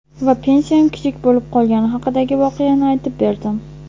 Va pensiyam kichik bo‘lib qolgani haqidagi voqeani aytib berdim.